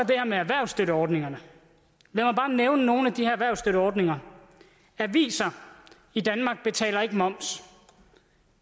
det her med erhvervsstøtteordningerne lad mig bare nævne nogle af de erhvervsstøtteordninger aviser i danmark betaler ikke moms